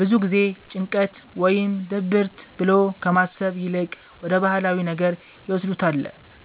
ብዙ ጊዜ ጭንቀት ወይም ድብርት ብሎ ከማሰብ ይልቅ ወደ ባህላዊ ነገር ይወስዱታለ